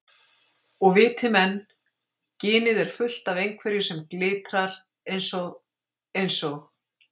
Og viti menn, ginið er fullt af einhverju sem glitrar eins og. eins og